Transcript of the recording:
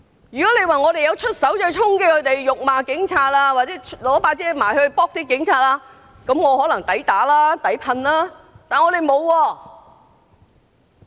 如果我們衝擊、辱罵警察或以雨傘襲擊警察，我們可能抵打、抵噴，但我們沒有。